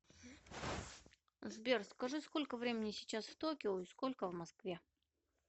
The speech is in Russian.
сбер скажи сколько времени сейчас в токио и сколько в москве